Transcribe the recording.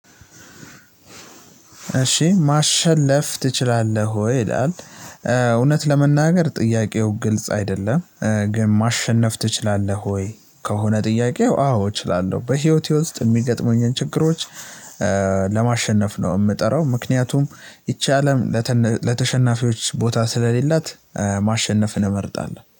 እሺ ማሸለፍ ትችላለህ ወይ ይላል እውነት ለመናገር ጥያቄው ግልጽ አይደለም? ግን ማሸነፍ ትችላለህ ወይ? ከሆነ ጥያቄው አዎ እችላለሁ በህይወቴ ውስጥ የሚገጥሙኝን ችግሮች ለማሸነፍ ነው የምጥረው። ምክንያቱም ይቺ አለም ለተነ ለተሸናፊዎች ቦታ ስለሌላት። ማሸነፍን እንመርጣለሁ